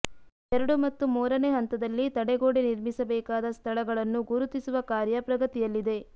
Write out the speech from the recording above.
ಎರಡು ಮತ್ತು ಮೂರನೇ ಹಂತದಲ್ಲಿ ತಡೆಗೋಡೆ ನಿರ್ಮಿಸಬೇಕಾದ ಸ್ಥಳಗಳನ್ನು ಗುರುತಿಸುವ ಕಾರ್ಯ ಪ್ರಗತಿಯಲ್ಲಿದೆ